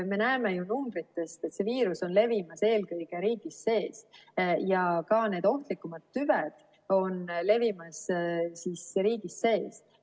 Me näeme ju numbritest, et see viirus on levimas eelkõige riigi sees ja ka need ohtlikumad tüved on levimas riigi sees.